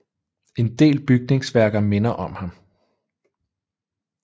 En del bygningsværker minder om ham